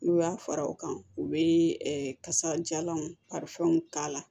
N'u y'a fara o kan u bɛ kasajalanw karifɛnw k'a la